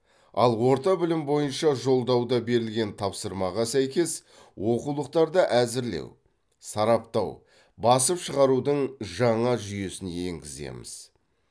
ал орта білім бойынша жолдауда берілген тапсырмаға сәйкес оқулықтарды әзірлеу сараптау басып шығарудың жаңа жүйесін енгіземіз